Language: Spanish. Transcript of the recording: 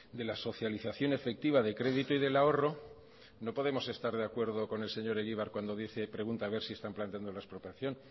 de lasocialización efectiva de crédito y del ahorro no podemos estar de acuerdo con el señor egibar cuando pregunta a ver si están planteando la expropiación